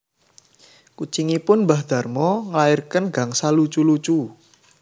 Kucingipun mbah Darmo nglairaken gangsal lucu lucu